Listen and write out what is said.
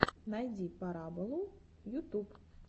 найди пораболу ютуб